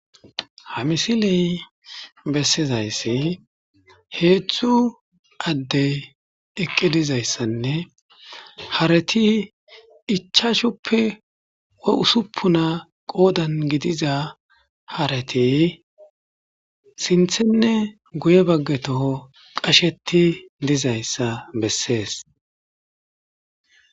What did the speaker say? Ha misiley bessizayssi hedzdzu adde eeqi dizayssinne harati ichchachchuppe hussipuna qoodan gidiza haareti sinththenne guye bagga toho qasetii dizayssa besses